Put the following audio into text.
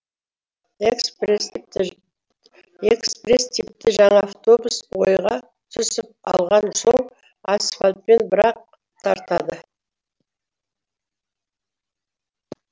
экспресс типті жаңа автобус ойға түсіп алған соң асфальтпен бір ақ тартады